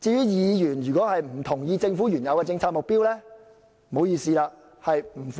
議員如果不同意政府的原有政策目標，該如何是好？